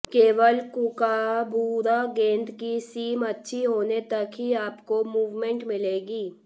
केवल कूकाबूरा गेंद की सीम अच्छी होने तक ही आपको मुवमेंट मिलेगी